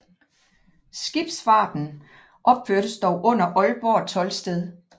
Skibsfarten opførtes dog under Aalborg toldsted